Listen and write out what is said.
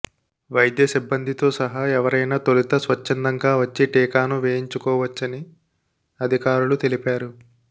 వైద్య సిబ్బందితో సహా ఎవరైనా తొలుత స్వచ్ఛందంగా వచ్చి టీకాను వేయించుకోవచ్చని అధికారులు తెలిపారు